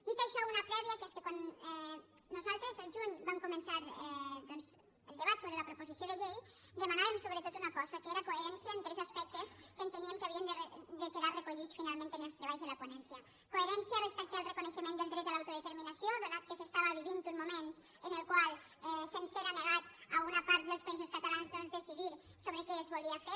dit això una prèvia que és que quan nosaltres el juny vam començar doncs el debat sobre la proposició de llei demanàvem sobretot una cosa que era coherència en tres aspectes que enteníem que havien de quedar re·collits finalment en els treballs de la ponència coherència respecte al reconeixement del dret a l’auto·determinació ja que s’estava vivint un moment en el qual se’ns era negat a una part dels països catalans doncs de· cidir sobre què es volia fer